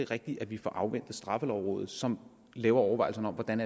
rigtigt at vi får afventet straffelovrådet som laver overvejelserne om hvordan